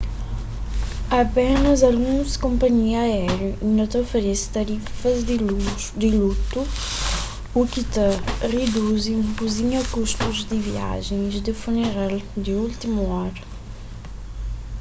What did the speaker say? apénas alguns konpanhia aériu inda ta oferese tarifas di lutu u ki ta riduzi un kuzinha kustu di viajens di funeral di últimu ora